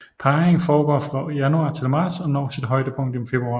Parringen foregår fra januar til marts og når sit højdepunkt i februar